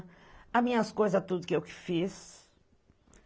As minhas coisas, tudo que eu que fiz.